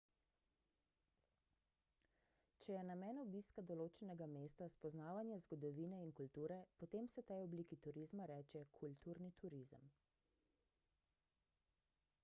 če je namen obiska določenega mesta spoznavanje zgodovine in kulture potem se tej obliki turizma reče kulturni turizem